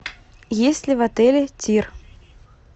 есть ли в отеле тир